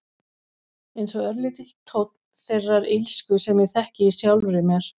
Einsog örlítill tónn þeirrar illsku sem ég þekki í sjálfri mér.